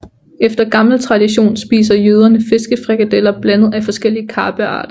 Efter gammel tradition spiser jøderne fiskefrikadeller blandet af forskellige karpearter